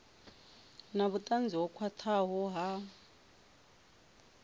na vhutanzi ho khwathaho ha